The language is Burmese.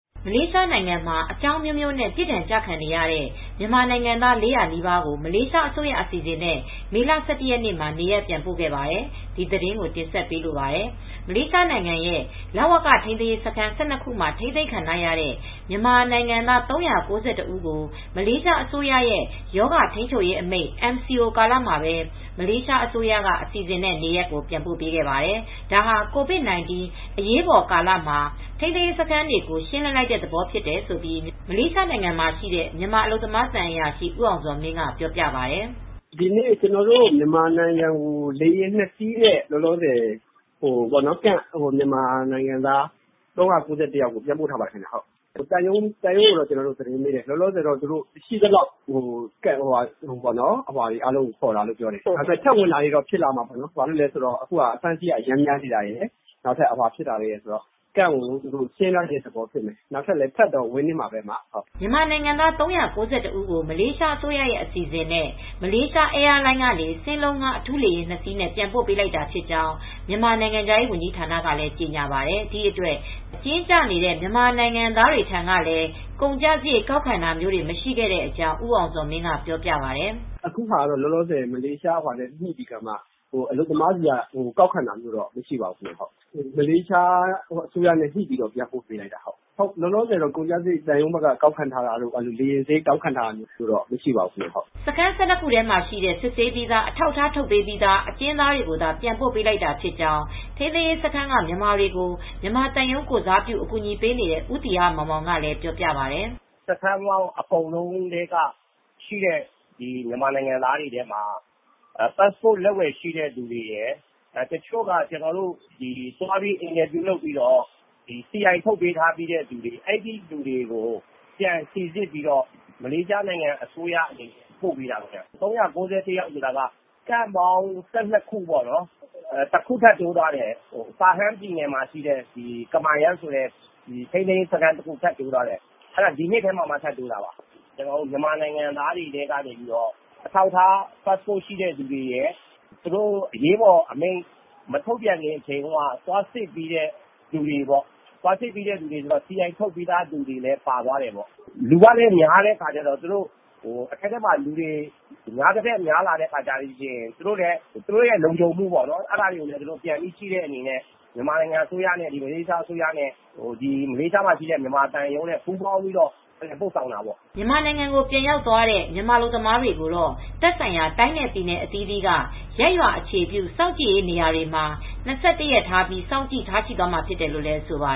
မလေးရှားနိုင်ငံမှာ အကြောင်းအမျိုးမျိုးနဲ့ ပြစ်ဒဏ်ကျခံရတဲ့ မြန်မာ နိုင်ငံသား ၄၀၀နီးပါးကို မလေးရှားအစိုးရအစီစဉ်နဲ့ မေလ ၁၁ရက်နေ့ မှာ နေရပ်ပြန်ပို့ ခဲ့ပါတယ်။ ဒီသတင်းကို မအေးအေးမာ တင်ဆက်ပေးမှာပါ။ မလေးရှားနိုင်ငံရဲ့လဝက ထိန်းသိမ်းရေးစခန်း ၁၂ခုမှာ ထိန်းသိမ်းခံထားရတဲ့မြန်မာနိုင်ငံသား ဦးကို မလေးရှားအစိုးရရဲ့ ရောဂါထိန်းချုပ်ရေးအမိန့် MCO ကာလမှာပဲ မလေးရှားအစိုးရက အစီအစဉ်နဲ့ နေရပ်ကိုပြန်ပို့ ပေးခဲ့ပါတယ်။ ဒါဟာ ကိုဗစ် ၁၉ အရေးပေါ်ကာလမှာ ထိန်းသိမ်းစခန်းတွေကို ရှင်းလင်းလိုက်တဲ့ သဘောဖြစ်တယ်လို့ မြန်မာအလုပ်သမားသံအရာရှိ ဦးအောင်ဇော်မင်းက ပြောပြပါတယ်။ “ဒီနေ့ ကျနော်တို့ မြန်မာနိုင်ငံကို လေယာဉ် နဲ့ ထိန်းသိမ်းရေးစခန်းက မြန်မာနိုင်ငံသား ၃၉၁ဦးကို ပြန်ပို့ပါတယ်။ သိရသလောက်ကတော့ ထိန်းသိမ်းရေး စခန်းအားလုံးက မြန်မာအလုပ်သမားတွေကိုပြန်ပို့တာလို့ သိရပါတယ်။ သံရုံးကပြောတာကတော့ အားလုံးကိုခေါ်တာလို့ပြောပါတယ်။ နောက်ထပ်လည်း ထပ်ဝင်တာလည်း ရှိနိုင်ပါတယ်။ အခုကအဖမ်းအဆီးတွေ များနေတာရယ်ကြောင့် စခန်း ကို ရှင်းလင်းတဲ့ သဘောဖြစ်နိုင်ပါတယ်။ နောက်ထပ်တော့ထပ်တော့ ဝင်နေမှာပဲ။” မြန်မာနိုင်ငံသား ဦးကို မလေးရှားအစိုးရရဲ့အစီအစဉ်နဲ့ Malaysia Airlines စင်းလုံးငှားအထူးလေယာဉ် စီးနဲ့ ပြန်ပို့ပေးလိုက်တာဖြစ်ကြောင်း မြန်မာနိုင်ငံခြားရေးဝန်ကြီးဌာနကလည်း ကြေညာပါတယ်။ ဒီအတွက် အကျဉ်းကျနေတဲ့မြန်မာနိုင်ငံသားတွေထံကလည်း ကုန်ကျစရိတ်ကောက်ခံတာမရှိခဲ့တဲ့အကြောင်း ဦးအောင်ဇော်မင်းက ပြောပြပါတယ်။ “အခုဟာက မလေးရှားအစိုးရနဲ့ ညှိပြီးအလုပ်သမားကို ပြန်ပို့ပေးလိုက်တာပါ ။ သံရုံးဘက်ကတော့ ကုန်ကျစရိတ်ကောက်ခံတာ အလုပ်သမားတွေကိုလေယာဉ်စရိတ်ကောက်ခံတာမျိုးတွေလည်း မရှိပါဘူး။” စခန်း၁၂ခုထဲမှာ ရှိတဲ့ စစ်ဆေးပြီးသား အထောက်အထားထုတ်ပေးပြီးသား အကျဉ်းသားတွေကိုသာ ပြန်ပို့ပေးလိုက်တာဖြစ်ကြောင်း ထိန်းသိမ်းရေးစခန်းက မြန်မာတွေကို မြန်မာသံရုံးကိုယ်စားပြု အကူညီပေးနေတဲ့ ဦးသီဟမောင်မောင်ကပြောပါတယ်။ “စခန်းပေါင်း အကုန်လုံးထဲကရှိတဲ့ မြန်မာနိုင်ငံသားတွေထဲမှာ ပတ်စပို့လက်ဝယ်ရှိသူတွေရယ် တချို့ကကျနော်တို့က သွားပြီးစီအိုင် ရှိပြီးသား လူတွေကို ပြန်လည်စီစစ်ပြီး မလေးရှားအစိုးရက ပို့ပေးတာ၊ ၃၉၁ ယောက်ဆိုတာက စခန်းပေါင်း ၁၂ခုပေါ့ တခုထပ်တိုးသွားတယ်။ ပါဟန်းပြည်နယ်မှာရှိတဲ့ ကမာရမ်းဆိုတဲ့ ထိန်းသိမ်းရေးစခန်းတခု ထပ်တိုးတယ်ဒီနှစ်ထဲမှာပဲ ထပ်တိုးတာပါ။ မြန်မာနိုင်ငံသားတွေထဲက အထောက်အထား ပတ်စပို့ ရှိတဲ့သူတွေရယ် အရေးပေါ်အမိန့် မထုတ်ပြန်ခင်က သွာစစ်ပြီးသားလူတွေရယ် စီအိုင်ရှိတဲ့သူတွေပါသွားတယ်။ လူကလည်းများတော့ အထဲမှာ လူများသထက်များလာရင် သူတို့ အတွက်လည်းလုံခြုံမူမရှိတာကြောင့် မလေးရှားအစိုးရရယ် မြန်မာအစိုးရရယ် မလေးရှားမှာရှိတဲ့ မြန်မာသံရုံးရယ်ပေါင်းပြီး ပို့ဆောင်ပေးလိုက်တာပါ။” မြန်မာနိုင်ငံကိုပြန်ရောက်သွားတဲ့ မြန်မာအလုပ်သမားတွေကိုတော့ သက်ဆိုင်ရာ တိုင်းနဲ့ ပြည်နယ်အသီးသီးက Community Based Facility quarantine ရပ်ရွာ အခြေပြု စောင့်ကြည့် နေရာများမှာ ရက် စောင့်ကြည့်ထားရှိသွားမှာ ဖြစ်တယ်လို့ဆိုပါ